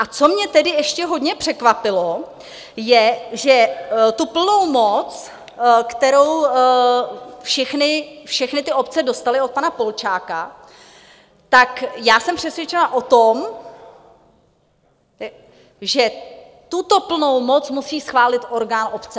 A co mě tedy ještě hodně překvapilo, je, že tu plnou moc , kterou všechny ty obce dostaly od pana Polčáka, tak já jsem přesvědčena o tom, že tuto plnou moc musí schválit orgán obce.